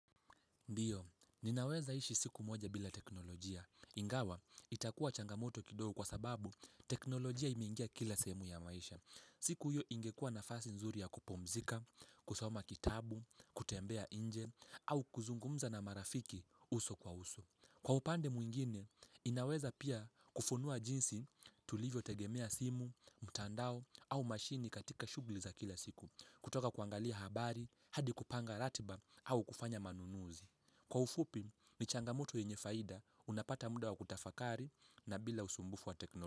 Ndiyo, ninaweza ishi siku moja bila teknolojia. Ingawa, itakuwa changamoto kidogo kwa sababu teknolojia imeingia kila sehemu ya maisha. Siku hiyo ingekua nafasi nzuri ya kupumzika, kusoma kitabu, kutembea nje, au kuzungumza na marafiki uso kwa uso. Kwa upande mwingine, inaweza pia kufunua jinsi tulivyo tegemea simu, mtandao, au mashini katika shughuli za kila siku, kutoka kuangalia habari, hadi kupanga ratiba, au kufanya manunuzi. Kwa ufupi ni changamoto yenye faida unapata muda wakutafakari na bila usumbufu wa teknolo.